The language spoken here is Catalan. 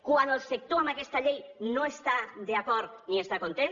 quan el sector amb aquesta llei no està d’a cord ni hi està content